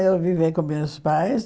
Eu vivia com meus pais.